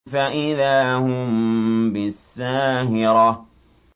فَإِذَا هُم بِالسَّاهِرَةِ